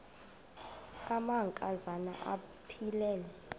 amanka zana aphilele